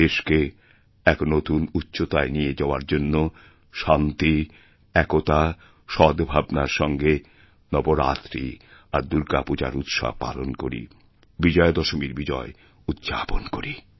দেশকে এক নতুনউচ্চতায় নিয়ে যাওয়ার জন্য শান্তি একতা সদ্ভাবনার সঙ্গে নবরাত্রি আর দুর্গাপূজারউৎসব পালন করি বিজয়াদশমীর বিজয় উদ্যাপন করি